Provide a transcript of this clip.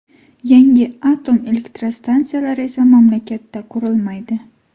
Yangi atom elektrostansiyalar esa mamlakatda qurilmaydi.